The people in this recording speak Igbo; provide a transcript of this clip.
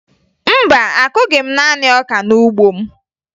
Mba, akụghị m naanị ọka n'ugbo m